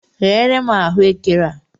Ghee re m ahụekere a!